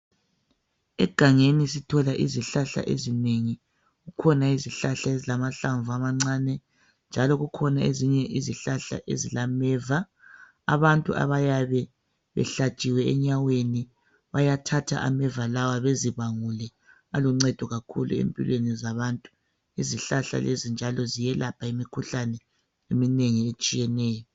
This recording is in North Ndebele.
Egangeni sithola izihlahla ezinengi. Kukhona izihlahla ezilamahlamvu amancane njalo kukhona ezilameva. Abantu abayabe behlatshiwe enyaweni bayathatha ameva lawa bezibangule aluncedo kakhulu empilweni zabantu.. Izihlahla lezi njalo ziyelapha imikhuhlane eminengi etshiyeneyo.